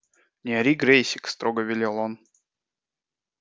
не ори грэйсик строго велел он